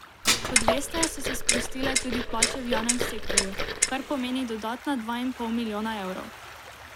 Kot veste, so se sprostile tudi plače v javnem sektorju, kar pomeni dodatna dva in pol milijona evrov.